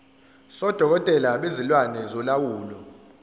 sodokotela bezilwane solawulo